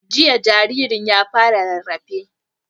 Jiya jaririn ya fara rarrafe